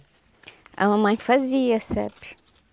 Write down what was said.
A mamãe fazia, sabe?